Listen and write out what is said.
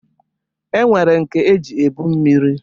E nwere nke eji ebu mmiri